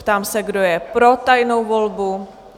Ptám se, kdo je pro tajnou volbu?